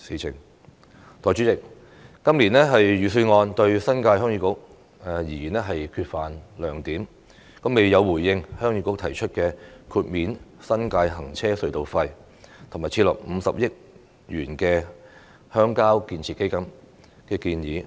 代理主席，今年預算案對新界鄉議局而言缺乏亮點，未有回應鄉議局提出豁免新界行車隧道費，以及設立50億元鄉郊建設基金的建議。